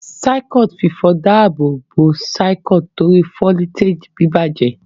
Circuit fífọ dá ààbò bó Circuit tori foliteji bibajẹ.